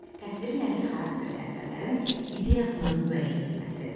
Təsviri nəqli xarakterli əsərlərin ideyasının müəyyən edilməsi.